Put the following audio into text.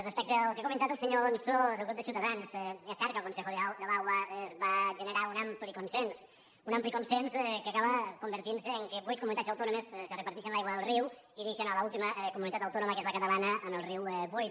respecte al que ha comentat el senyor alonso del grup de ciutadans és cert que el consejo del agua va generar un ampli consens un ampli consens que acaba convertint se que vuit comunitats autònomes se reparteixen l’aigua del riu i deixen l’última comunitat autònoma que és la catalana amb el riu buit